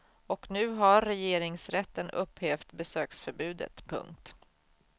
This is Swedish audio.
Och nu har regeringsrätten upphävt besöksförbudet. punkt